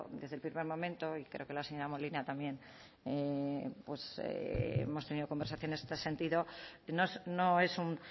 desde el primer momento y creo que la señora molina también hemos tenido conversaciones en este sentido no es un